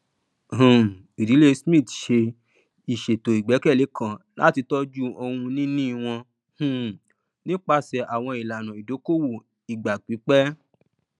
um ìdílé smith ṣe ìṣètò igbẹkẹlé kan láti tọjú ohunìnì wọn um nípasẹ àwọn ìlànà ìdókòwò ìgbà pípẹ